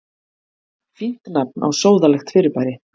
Fínt nafn á sóðalegt fyrirbæri.